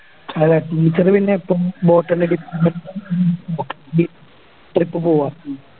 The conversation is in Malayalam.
അതെ Teacher പിന്നെ എപ്പോം Trip പോവാം